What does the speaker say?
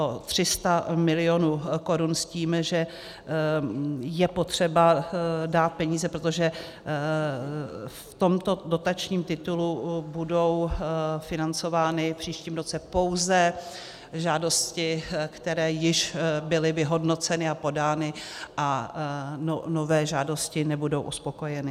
O 300 mil. korun s tím, že je potřeba dát peníze, protože v tomto dotačním titulu budou financovány v příštím roce pouze žádosti, které již byly vyhodnoceny a podány, a nové žádosti nebudou uspokojeny.